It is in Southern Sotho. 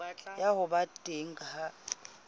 ya ho ba teng ha